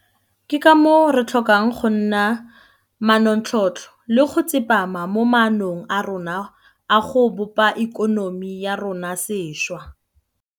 Ke ka moo re tlhokang go nna manontlhotlho le go tsepama mo maanong a rona a go bopa ikonomi ya rona sešwa.